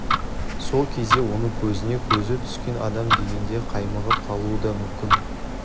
сол кезде оның көзіне көзі түскен адам дегенде қаймығып қалуы да мүмкін